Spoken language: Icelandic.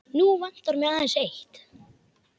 Nú vantar mig aðeins eitt!